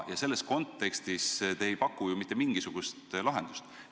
Ja selles kontekstis te ei paku ju mitte mingisugust lahendust.